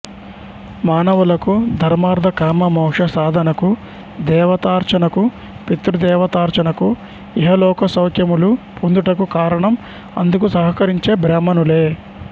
మానవులకు ధర్మార్ధకామమోక్ష సాధనకు దేవతార్ఛనకు పితృదేవతార్చనకు ఇహలోకసౌఖ్యములు పొందుటకు కారణం అందుకు సహకరించే బ్రాహ్మణులే